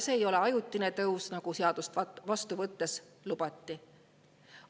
See ei ole ajutine tõus, nagu seadust vastu võttes lubati.